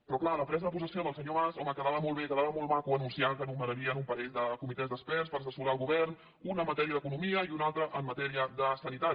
però clar la presa de possessió del senyor mas home quedava molt bé quedava molt maco anunciar que nomenarien un parell de comitès d’experts per assessorar el govern un en matèria d’economia i un altre en matèria de sanitat